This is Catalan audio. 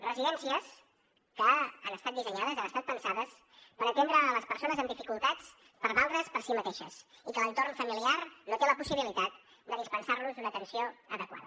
residències que han estat dissenyades han estat pensades per atendre les persones amb dificultats per valdre’s per si mateixes i que l’entorn familiar no té la possibilitat de dispensar los una atenció adequada